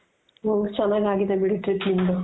ಹಾ ಚೆನಾಗ್ ಆಗಿದೆ ಬಿಡಿ trip ನಿಮ್ದು.